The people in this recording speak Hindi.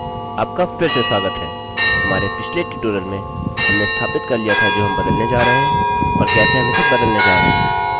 आपका फिर से स्वागत है! हमारे पिछले ट्यूटोरियल में हमने स्थापित कर लिया था जो हम बदलने जा रहे हैं और कैसे हम इसे बदलने जा रहे हैं